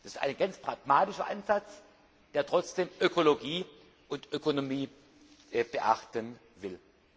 Das ist ein ganz pragmatischer Ansatz, der trotzdem Ökologie und Ökonomie beachten will.